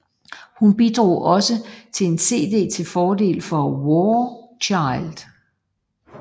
Hun bidrog også til en cd til fordel for War Child